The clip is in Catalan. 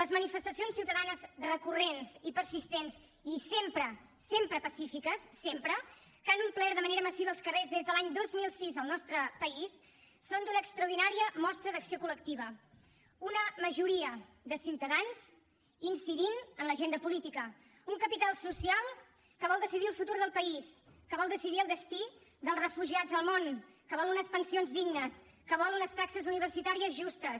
les manifestacions ciutadanes recurrents i persistents i sempre pacífiques sempre que han omplert de manera massiva els carrers des de l’any dos mil sis al nostre país són una extraordinària mostra d’acció col·lectiva una majoria de ciutadans incidint en l’agenda política un capital social que vol decidir el futur del país que vol decidir el destí dels refugiats al món que vol unes pensions dignes que vol unes taxes universitàries justes